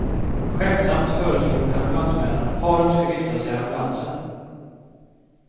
Skämtsamt föreslog ambulansmännen att paret skulle gifta sig i ambulansen.